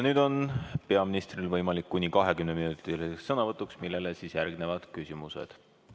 Nüüd on peaministril võimalus kuni 20-minutiliseks sõnavõtuks, millele järgnevad küsimused.